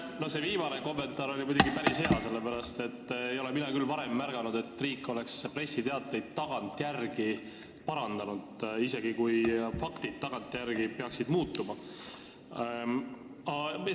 No see viimane kommentaar oli muidugi päris hea, sellepärast et mina ei ole küll varem märganud, et riik oleks pressiteateid tagantjärele parandanud, isegi kui faktid peaksid muutuma.